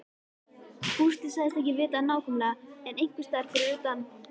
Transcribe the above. Gústi sagðist ekki vita það nákvæmlega en einhversstaðar fyrir utan